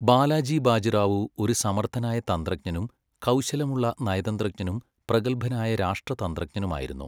ബാലാജി ബാജിറാവു ഒരു സമർത്ഥനായ തന്ത്രജ്ഞനും കൗശലമുള്ള നയതന്ത്രജ്ഞനും പ്രഗത്ഭനായ രാഷ്ട്രതന്ത്രജ്ഞനുമായിരുന്നു.